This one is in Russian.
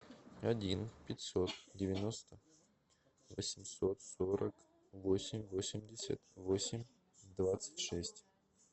один пятьсот девяносто восемьсот сорок восемь восемьдесят восемь двадцать шесть